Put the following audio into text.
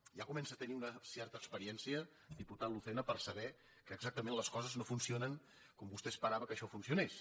ja comença a tenir una certa experiència diputat lucena per saber que exactament les coses no funcionen com vostè esperava que això funcionés